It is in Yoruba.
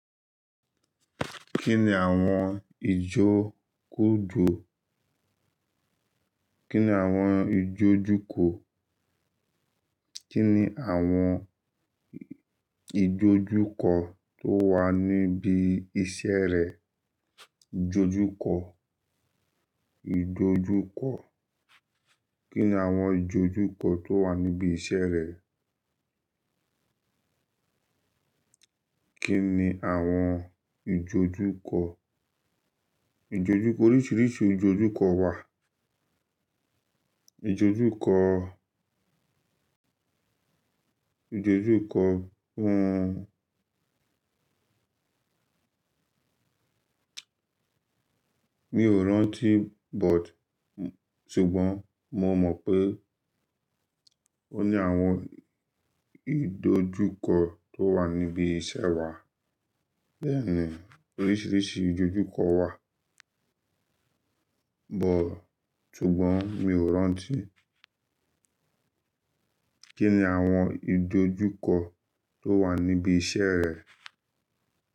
Kí ni àwọn ìjókòjó, kí ni àwọn ìjójúkò, kí ni àwọn ìjójúkọ tó wà níbi iṣẹ́ rẹ? Ìjójúkọ, ìjójúkọ. Kí ni àwọn ìjójúkọ tó wà níbi iṣẹ́ rẹ? Kí ni àwọn ìjójúkọ? Ìjójúkọ, oríṣiríṣi ìjójúkọ wà. Ìjójúkọ, ìjójúkọ won. Mi ò rántí but ṣùgbọ́n mo mọ̀ pé ó ní àwọn ìjójúkọ tó wà níbi iṣẹ́ wà. Bẹ́ẹ̀ni, oríṣiríṣi ìjójúkọ wà. But ṣùgbọ́n mi ò rántí. Kí ni àwọn ìjójúkọ tó wà níbi iṣẹ́ rẹ?